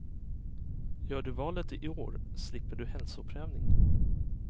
Gör du valet i år slipper du hälsoprövning.